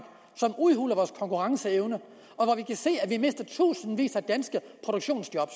som udhuler vores konkurrenceevne når vi kan se at vi mister i tusindvis af danske produktionsjob